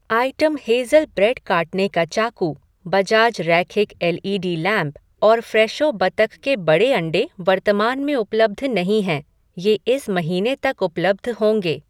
item Hazel bread काटने का चाकू, बजाज रैखिक एल ई डी लैंप, और फ़्रेशो बतख के बड़े अंडे वर्तमान में उपलब्ध नहीं हैं, ये इस महीने तक उपलब्ध होंगे